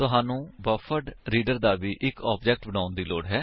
ਤੁਹਾਨੂੰ ਬਫਰਡਰੀਡਰ ਦਾ ਵੀ ਇੱਕ ਆਬਜੇਕਟ ਬਣਾਉਣ ਦੀ ਲੋੜ ਹੈ